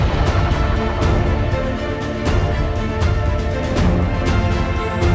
Əgər biz buna nəzarət etməsək, onun köləsinə çevriləcəyik.